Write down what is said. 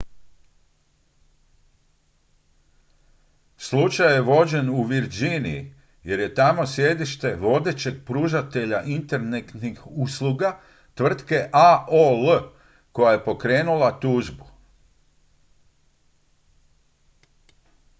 slučaj je vođen u virginiji jer je tamo sjedište vodećeg pružatelja internetskih usluga tvrtke aol koja je pokrenula tužbu